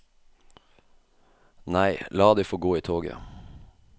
Nei, la de få gå i toget.